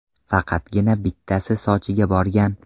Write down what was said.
Faqatgina bittasi Sochiga borgan.